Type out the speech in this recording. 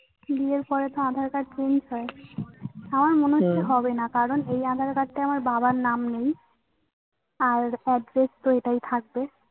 বিয়ের পরে তো আধার card change হয়। আমার মনে হচ্ছে হবে না। কারণ এই আধার card তাই আমার বাবার নাম নেই আর address তো এটাই থাকবে।